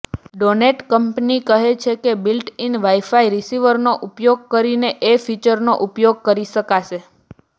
donate company કહે છે built in wifi રિસિવરનો ઉપયોગ કરીને એ ફીચરોનો ઉપયોગ કરી શકાશે